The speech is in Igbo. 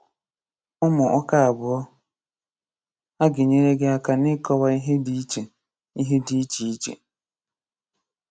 Ụ̀mụ̀ ụ̀kà abụọ̀ à ga-enyèrè gị̀ akà n’ị̀kọ̀wà ihè dị̀ ichè ihè dị̀ ichè ichè.